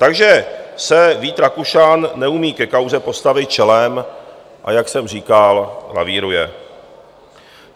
Takže se Vít Rakušan neumí ke kauze postavit čelem, a jak jsem říkal, lavíruje.